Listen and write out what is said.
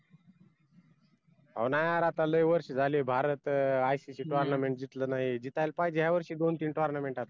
अहो नाय यार आता लई वर्ष झाले भारतात icc tournament दिसल नाही दिसायला पाहिजे यावर्षी दोन तीन tournament आता